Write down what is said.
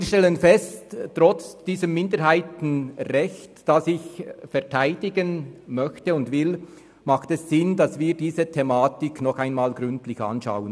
Wir stellen fest, dass es trotz dieses Minderheitenrechts, das ich verteidigen möchte und will, Sinn macht, diese Thematik nochmals gründlich anzuschauen.